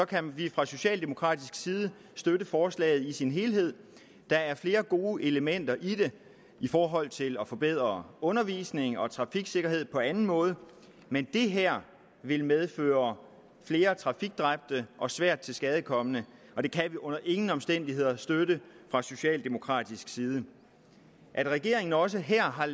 kan vi fra socialdemokratisk side støtte forslaget i sin helhed der er flere gode elementer i det i forhold til at forbedre undervisning og trafiksikkerhed på anden måde men det her vil medføre flere trafikdræbte og svært tilskadekomne og det kan vi under ingen omstændigheder støtte fra socialdemokratisk side at regeringen også her har